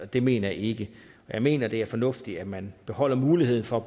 det mener jeg ikke jeg mener det er fornuftigt at man beholder muligheden for